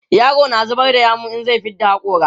yaro na zubar da yawu in zai fidda hakori